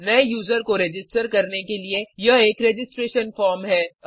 नए यूज़र को रजिस्टर करने के लिए यह एक रजिस्ट्रेशन फॉर्म है